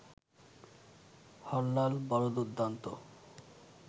হরলাল বড় দুর্দ্দান্ত